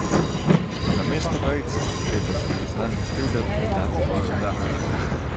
Namesto vejice je treba za priznanjem krivde dati piko.